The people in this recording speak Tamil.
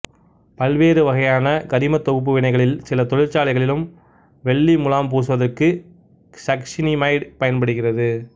பல்வேறு வகையான கரிமத் தொகுப்பு வினைகளிலும் சில தொழிற்சாலைகளில் வெள்ளி முலாம் பூசுவதற்கும் சக்சினிமைடு பயன்படுகிறது